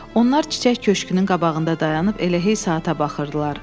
Onlar çiçək köşkkünün qabağında dayanıb elə hey saata baxırdılar.